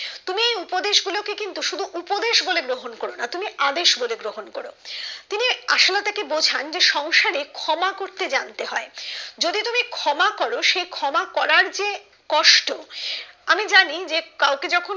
উপদেশ বলে গ্রহণ করবে না তুমি আদেশ বলে গ্রহণ করো তিনি আশালতা কে বোঝান যে সংসারে ক্ষমা করতে জানতে হয় যদি তুমি ক্ষমা করো সে ক্ষমা করার যে কষ্ট আমি জানি যে কাউকে যখন